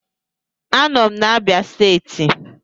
Anọ m na Abia steeti